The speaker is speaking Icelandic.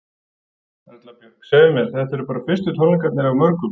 Erla Björg: Segðu mér, þetta eru bara fyrstu tónleikarnir af mörgum?